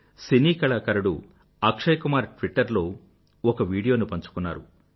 సినీ కళాకారుడు అక్షయ్ కుమార్ ట్విట్టర్ లో ఒక వీడియో ను పంచుకున్నారు